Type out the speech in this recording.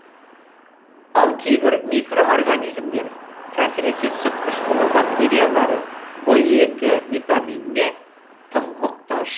ал кейбір микроорганизмдер әсіресе сүт қышқылы бактериялары в екі витаминіне тым мұқтаж